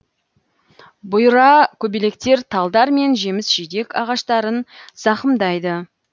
бұйра көбелектер талдар мен жеміс жидек ағаштарын зақымдайды